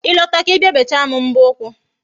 Ị lọta ka Ị bịa bechaa m mbọ ụkwụ